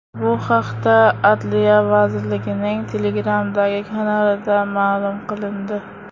Bu haqda Adliya vazirligining Telegram’dagi kanalida ma’lum qilindi .